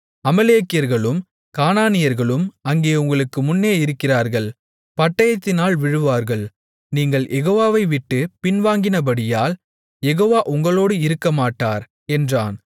அமலேக்கியர்களும் கானானியர்களும் அங்கே உங்களுக்கு முன்னே இருக்கிறார்கள் பட்டயத்தினால் விழுவீர்கள் நீங்கள் யெகோவா வை விட்டுப் பின்வாங்கினபடியால் யெகோவா உங்களோடு இருக்கமாட்டார் என்றான்